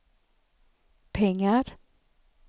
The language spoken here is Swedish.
pengar